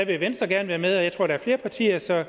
vil venstre gerne være med og jeg tror der er flere partier så